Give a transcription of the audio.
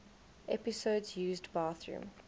episodes used bathroom